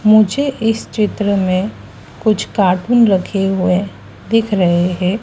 मुझे इस चित्र में कुछ कार्टून रखे हुए दिख रहे हैं।